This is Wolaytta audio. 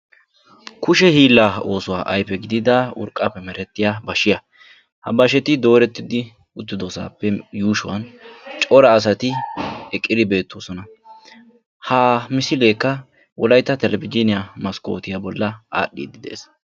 Kushe hiillaa oossuwaa ayfe gidida urqqaappe merettiyaa bashshiyaa. ha bashsheti doorettidi uttidosappe yuushshuwaan cora asati eqqidi beettoosona. ha misileekka wolaytta telebizhiniyaa maskotiyaa bolli aadhdhidi de'ees.